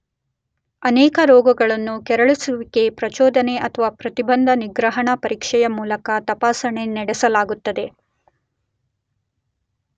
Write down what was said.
ಅನೇಕ ರೋಗಗಳನ್ನು ಕೆರಳಿಸುವಿಕೆ, ಪ್ರಚೋದನೆ ಅಥವಾ ಪ್ರತಿಬಂಧ, ನಿಗ್ರಹಣ ಪರೀಕ್ಷೆಯ ಮೂಲಕ ತಪಾಸಣೆ ನಡೆಸಲಾಗುತ್ತದೆ.